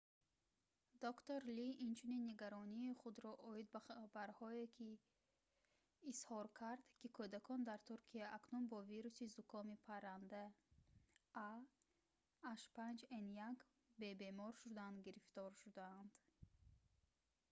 доктор ли инчунин нигаронии худро оид ба хабарҳое изҳор кард ки кӯдакон дар туркия акнун бо вируси зукоми паранда ah5n1 бе бемор шудан гирифтор шудаанд